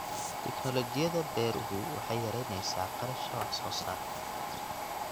Tignoolajiyada beeruhu waxay yaraynaysaa kharashka wax soo saarka.